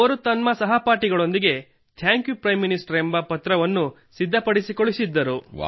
ಅವಳು ತನ್ನ ಸ್ನೇಹಿತರೊಂದಿಗೆ ನಿಮಗೆ ಥ್ಯಾಂಕ್ಯು ಪಿ ಎಂ ಎಂದು ಪತ್ರವನ್ನು ಸಿದ್ಧಪಡಿಸಿ ಕಳುಹಿಸಿದ್ದರು